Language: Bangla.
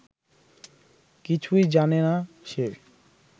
কিছুই জানেনা সে